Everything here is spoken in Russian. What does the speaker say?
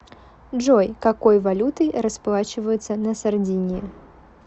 джой какой валютой расплачиваются на сардинии